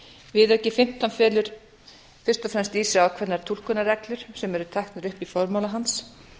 viðauki fimmtán felur fyrst og fremst í sér ákveðnar túlkunarreglur sem eru teknar upp í formála hans